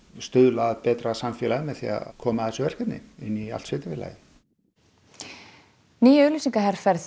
stuðla að betra samfélagi með því að koma að þessu verkefni inn í allt sveitarfélagið ný auglýsingaherferð